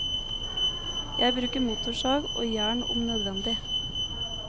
Jeg bruker motorsag, og jern om nødvendig.